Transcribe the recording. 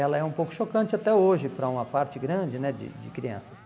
Ela é um pouco chocante até hoje para uma parte grande né de de crianças.